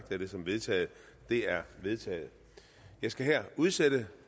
jeg det som vedtaget det er vedtaget jeg skal her udsætte